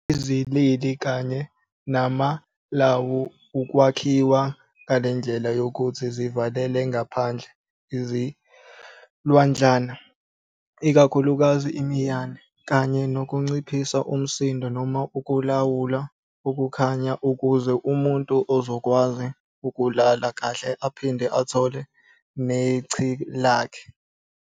Izilili kanye namalawu ukwakhiwa ngelendlela yokuthi zivalele ngaphandle izilwadlana, ikakhulukazi imiyane, kanye nokunciphisa umsindo noma ukulawula ukukhanya ukuze umuntu ezokwazi ukulala kahle aphinde athole nechi lakhe.